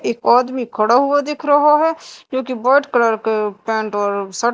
एक आदमी खड़ा हुआ दिख रहा है जो कि वाइट कलर के पेंट और शर्ट --